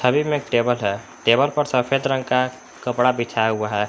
में एक टेबल है टेबल पर सफेद रंग का कपड़ा बिछाया हुआ है।